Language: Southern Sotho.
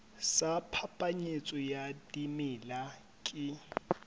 sa phapanyetso ya dimela ke